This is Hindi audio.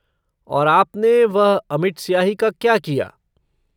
और आपने वह अमिट स्याही का क्या किया?